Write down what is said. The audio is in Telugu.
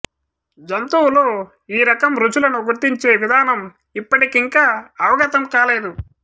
జంతువులు ఈ రకం రుచులను గుర్తించే విధానం యిప్పటికింకా అవగతం కాలేదు